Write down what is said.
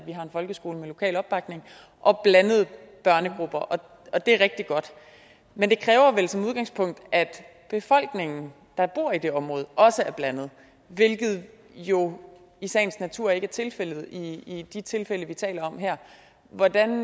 en folkeskole med lokal opbakning og blandede børnegrupper og det er rigtig godt men det kræver vel som udgangspunkt at befolkningen der bor i det område også er blandet hvilket jo i sagens natur ikke er tilfældet i de tilfælde vi taler om her hvordan